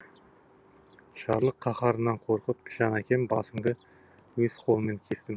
жарлық қаһарынан қорқып жан әкем басыңды өз қолыммен кестім